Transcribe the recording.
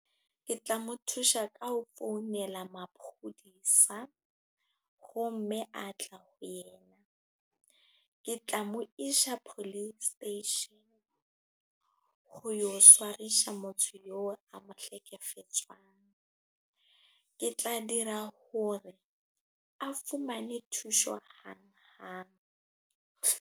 Ke tla mo thusa ka ho founela maponesa. Ho mme a tla ho yena. Ke tla mo isa police station, ho yo tshwarisa motho eo a mo hlekefetsang. Ke tla dira hore a fumane thuso hang hang.